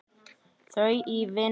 Þau í vinnu.